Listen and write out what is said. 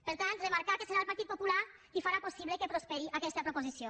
per tant remarcar que serà el partit popular qui farà possible que prosperi aquesta proposició